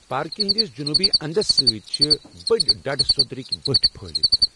پارکہِ ہٕنٛدس جنوٗبی انٛدَس سۭتۍ چھِ بٔڑۍ ڈڈٕ سوٚدرٕکۍ بٔٹھۍ پھٕہلتھ۔